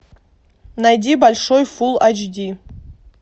найди большой фул эйч ди